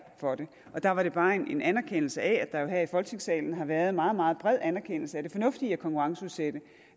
for det der var det bare en anerkendelse af at der jo her i folketingssalen har været meget meget bred anerkendelse af det fornuftige i at konkurrenceudsætte